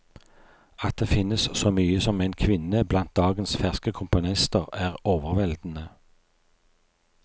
At det finnes så mye som en kvinne blant dagens ferske komponister, er overveldende.